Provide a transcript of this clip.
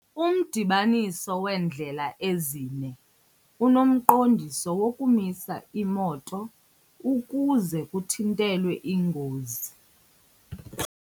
Umdibaniso weendlela ezine unemiqondiso yokumisa iimoto ukuze kuthintelwe iingozi.